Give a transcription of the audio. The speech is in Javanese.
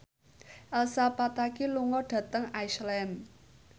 Elsa Pataky lunga dhateng Iceland